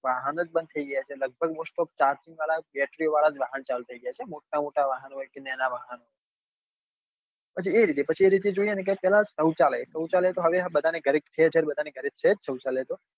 વાહન જ બંદ થઇ ગયા છે લગભગ most of વાળા જ charging વાળા જ battery વાહન ચાલુ થઇ ગયા છે મોટા મોટા વાહન હોય કે નાના વાહન હોય પછી એ રીતે પછી એ રીતે જોઈએ તો પેલા સૌચાલય સૌચાલય તો હવે બધા ના ઘરે શહેર શહેર બધા ના ઘરે છે જ સૌચાયલ તો